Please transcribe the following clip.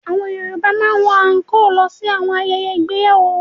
Àwọn Yorùbá máa ń wọ àńkóò lọ sí àwọn ayẹyẹ ìgbéyàwó.